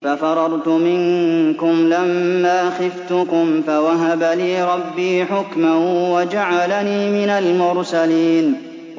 فَفَرَرْتُ مِنكُمْ لَمَّا خِفْتُكُمْ فَوَهَبَ لِي رَبِّي حُكْمًا وَجَعَلَنِي مِنَ الْمُرْسَلِينَ